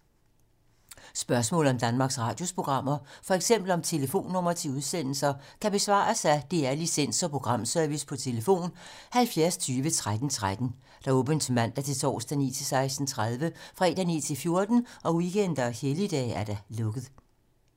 Spørgsmål om Danmarks Radios programmer, f.eks. om telefonnumre til udsendelser, kan besvares af DR Licens- og Programservice: tlf. 70 20 13 13, åbent mandag-torsdag 9.00-16.30, fredag 9.00-14.00, weekender og helligdage: lukket.